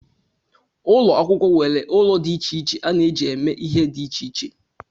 Ụlọ akwụkwọ nwere ụlọ dị iche iche a na-eji eme ihe dị iche iche